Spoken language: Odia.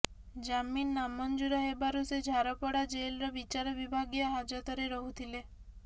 ଜାମିନ ନାମଞ୍ଜୁର ହେବାରୁ ସେ ଝାରପଡ଼ା ଜେଲ୍ର ବିଚାର ବିଭାଗୀୟ ହାଜତରେ ରହୁଥିଲେ